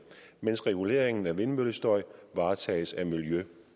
mens reguleringen af vindmøllestøj varetages af miljø